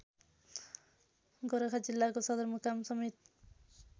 गोरखा जिल्लाको सदरमुकामसमेत